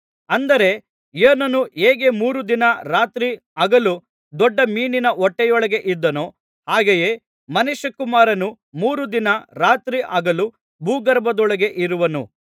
ಅಂದರೆ ಯೋನನು ಹೇಗೆ ಮೂರು ದಿನ ರಾತ್ರಿ ಹಗಲು ದೊಡ್ಡ ಮೀನಿನ ಹೊಟ್ಟೆಯೊಳಗೆ ಇದ್ದನೋ ಹಾಗೆಯೇ ಮನುಷ್ಯಕುಮಾರನು ಮೂರು ದಿನ ರಾತ್ರಿ ಹಗಲು ಭೂಗರ್ಭದೊಳಗೆ ಇರುವನು